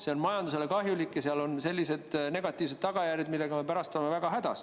See on majandusele kahjulik ja seal on sellised negatiivsed tagajärjed, millega me pärast oleme väga hädas.